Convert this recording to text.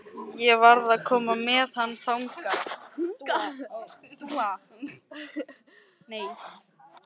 Ég varð að koma með hann hingað.